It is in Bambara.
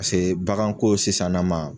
Paseke baganko sisan na ma